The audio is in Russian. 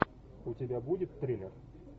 у тебя будет триллер